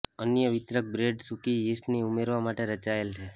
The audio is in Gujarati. અન્ય વિતરક બ્રેડ સૂકી યીસ્ટના ઉમેરવા માટે રચાયેલ છે